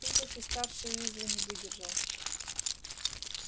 тут уж и старший уизли не выдержал